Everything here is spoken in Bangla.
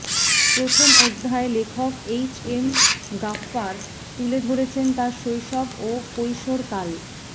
প্রথম অধ্যায়ে লেখক এইচ এম গাফ্ফার তুলে ধরেছেন তাঁর শৈশব ও কৈশোরকাল